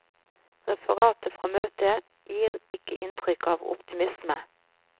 Referatet fra møtet gir ikke inntrykk av optimisme.